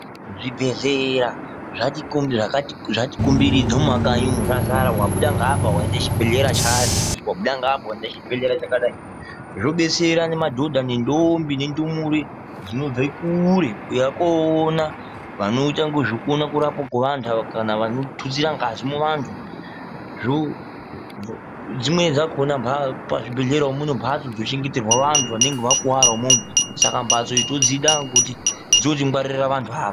Zvibhedhlera zvati zvatiko zvatikomberedza mumakanyi umu zvazara. Wabuda ngaapa chibhedhlera chanhingi. Wabuda ngaapa waona chibhedhlera chakadai. Zvobetsera madhodha nendombi nendumure dzinobva kure kuuya koona vanoita ngezvekuona kurapwa kweantu ava kana vanotsura ngazi muvanhu zvoo. Zvimweni zvakhona pachibhendhlera wo mune mhatso dzinochengeterwa vantu vanenge vakura imwomwo. Saka mhatso idzi todzida ngekuti dzinotingwarira vantu.